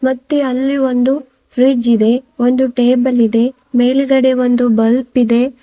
ಮತ್ತೆ ಅಲ್ಲಿ ಒಂದು ಫ್ರಿಡ್ಜ್ ಇದೆ ಒಂದು ಟೇಬಲ್ ಇದೆ ಮೇಲ್ಗಡೆ ಒಂದು ಬಲ್ಪ್ ಇದೆ.